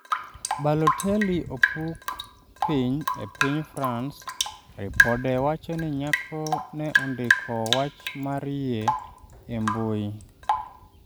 Balotelli opuk piny e piny France ripode wacho ni nyako ne ondiko wach mar yie e mbui